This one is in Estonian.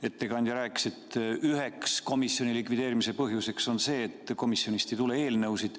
Ettekandja rääkis, et üheks komisjoni likvideerimise põhjuseks on see, et komisjonist ei tule eelnõusid.